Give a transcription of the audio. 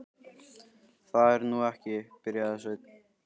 Það er nú ekki. byrjaði Sveinn.